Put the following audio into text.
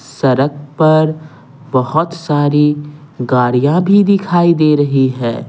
सड़क पर बहुत सारी गाड़ियां भी दिखाई दे रही है।